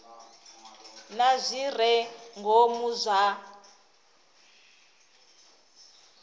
na zwi re ngomu zwa